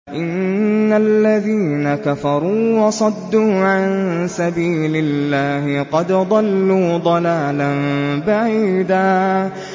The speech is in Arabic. إِنَّ الَّذِينَ كَفَرُوا وَصَدُّوا عَن سَبِيلِ اللَّهِ قَدْ ضَلُّوا ضَلَالًا بَعِيدًا